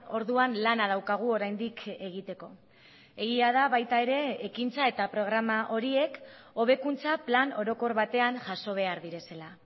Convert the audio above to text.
orduan lana daukagu oraindik egiteko egia da baita ere ekintza eta programa horiek hobekuntza plan orokor batean jaso behar direla